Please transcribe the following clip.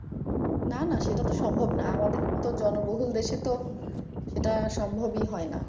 না না সেটা তো সম্ভব না ।আমাদের তো জনবহুল দেশে তো সেটা সম্ভব ই হয়না।